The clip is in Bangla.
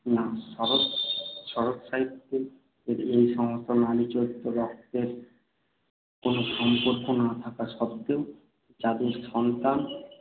না শরৎ~ শরৎসাহিত্যের এই সমস্ত নারী চরিত্র রক্তের কোন সম্পর্ক না থাকা সত্ত্বেও, যাদের সন্তান